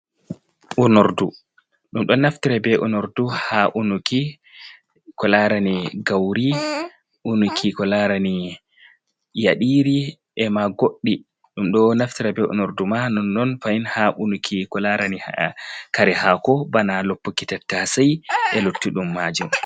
Uordu ɗum ɗo naftira be onordu ha unuki ko larani gauri , unuki ko larani yaɗiri ema goɗɗi, ɗum ɗo naftira be onordu man on fahin ha unuki ko larani kare haako bana loppuki tattasei e lotti ɗum majum.